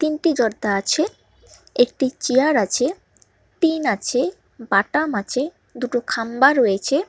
তিনটি জরদা আছে একটি চেয়ার আছে টিন আছে বাটাম আছে দুটো খাম্বা রয়েছে।